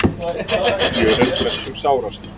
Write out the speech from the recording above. Fjör er flestum sárast.